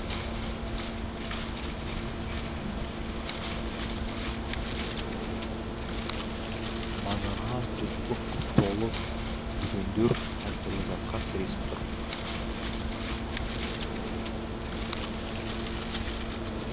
базарға жұрт лық толы дүкендер әртүрлі затқа сіресіп тұр